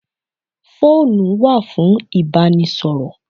Phone wà fún ìbánisọ̀rọ̀.